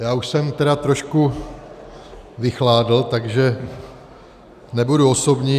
Já už jsem tedy trošku vychladl, takže nebudu osobní.